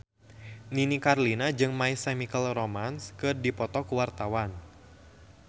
Nini Carlina jeung My Chemical Romance keur dipoto ku wartawan